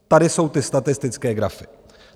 Tady jsou ty statistické grafy.